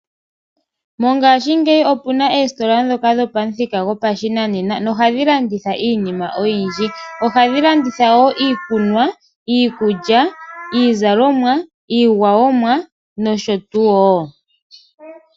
Mongashingeyi opuna oositola ndhoka dhopamuthika gopashinanena noha dhi landitha iinima oyindji. Ohadhi landitha wo iikunwa, iikulya, iizalomwa , iigwayomwa nosho tuu wo.